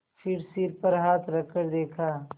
फिर सिर पर हाथ रखकर देखा